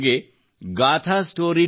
ನನಗೆ gaathastory